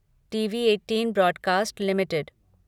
TV eighteen broadcast limited